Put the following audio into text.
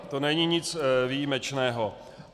To není nic výjimečného.